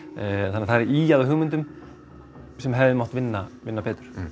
þannig að það er ýjað að hugmyndum sem hefði mátt vinna vinna betur